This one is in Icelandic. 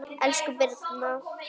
Elsku Birna